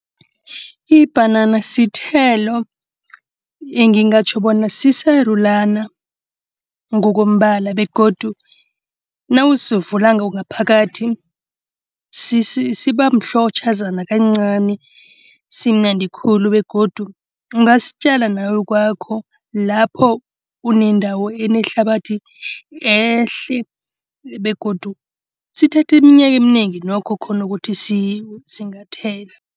Ibhanana sithelo engingatjho bona sisarulana ngokombala begodu nawusivulako ngaphakathi sibamhlotjhazana kancani. Simnandi khulu begodu ungasitjala nawe kwakho. Lapho unendawo enehlabathi ehle begodu sithatha iminyaka eminengi nokho khona ukuthi singathela.